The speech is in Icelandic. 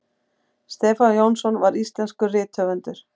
stefán jónsson var íslenskur rithöfundur